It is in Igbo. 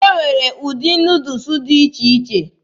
E nwere ụdị Nuudus dị iche iche.